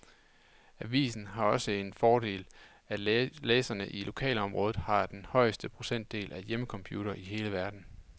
Avisen har også den fordel, at læserne i lokalområdet har den højeste procentdel af hjemmecomputere i hele verden.